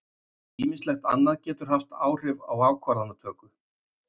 Ýmislegt annað getur haft áhrif á ákvarðanatöku.